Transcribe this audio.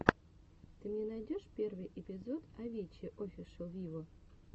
ты мне найдешь первый эпизод авичи офишел виво